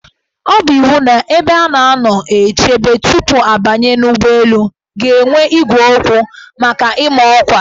Ọ bụ iwu na ebe a na-anọ eche tupu abanye n' ụgbọelu ga-enwe igwe okwu maka ịma ọkwa.